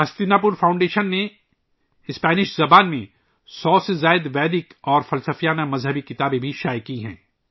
ہستینا پور فاؤنڈیشن نے 100 سے زیادہ ویدک اور فلسفے کی کتابیں اسپینی زبان میں شائع کی ہیں